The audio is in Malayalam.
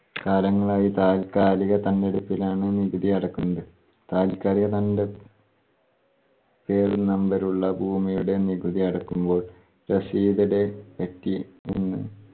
കാലങ്ങളായി താൽക്കാലിക ലാണ് നികുതി അടക്കുന്നത്. താൽക്കാലിക തണ്ട് പേരും numbe ഉമുള്ള ഭൂമിയുടെ നികുതി അടക്കുമ്പോൾ receipt പറ്റി മുൻ